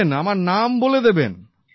বলে দেবেন আমার নাম বলে দেবেন